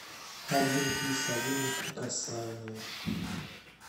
один плюс один неприкасаемые